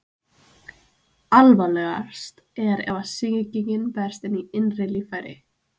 alvarlegast er ef sýkingin berst í innri líffæri